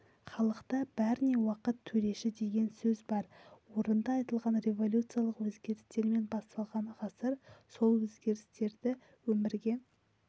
халықта бәріне уақыт төреші деген сөз бар орынды айтылған революциялық өзгерістермен басталған ғасыр сол өзгерістерді өмірге